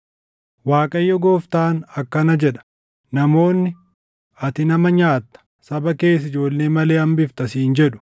“‘ Waaqayyo Gooftaan akkana jedha: Namoonni, “Ati nama nyaatta; saba kees ijoollee malee hambifta” siin jedhu;